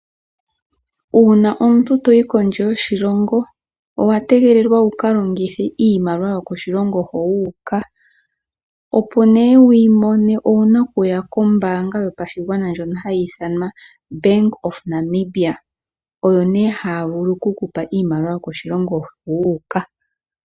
Uuna omuntu toyi kondje yoshilongo owa tegelelwa wuka longithe iimaliwa yokoshilongo ho wuuka. Opo nee wuyi mone owuna okuya kombaanga yopashigwana ndjo hayi ithanwa Bank of Namibia. Oyo nee haya vulu oku kupa iimaliwa yokoshilongo ho wuuka.